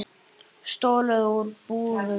Stolið úr búðum.